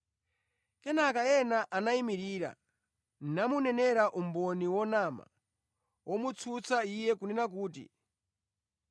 Kenaka ena anayimirira namunenera umboni wonama womutsutsa Iye kunena kuti,